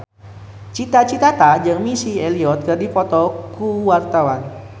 Cita Citata jeung Missy Elliott keur dipoto ku wartawan